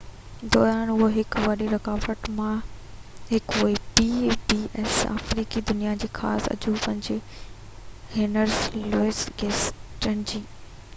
آفريقي دنيا جي خاص عجوبن جي هينري لوئيس گيٽس جي pbs دوران اهو هڪ وڏين رڪاوٽن مان هڪ هئي